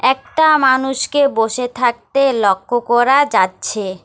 একটা মানুষকে বসে থাকতে লক্ষ করা যাচ্ছে।